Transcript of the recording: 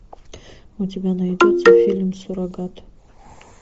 у тебя найдется фильм суррогат